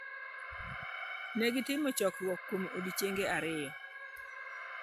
Ne gitimo chokruok kuom odiechienge ariyo.